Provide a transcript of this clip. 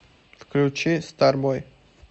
включи старбой